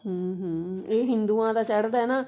hm hm ਇਹ ਹਿੰਦੁਆਂ ਦਾ ਚੜਦਾ ਹੈ ਨਾ